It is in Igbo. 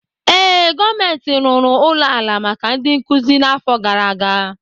Ee, gọọmentị rụrụ ụlọ ala maka ndị nkuzi n'afọ gara aga.